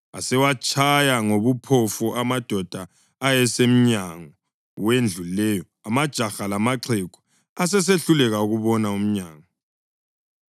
Asewatshaya ngobuphofu amadoda ayesemnyango wendlu leyo, amajaha lamaxhegu, asesehluleka ukubona umnyango.